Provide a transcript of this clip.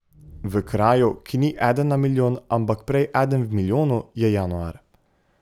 V kraju, ki ni eden na milijon, ampak prej eden v milijonu, je januar.